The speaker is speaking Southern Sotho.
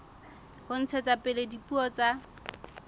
ho ntshetsa pele dipuo tsa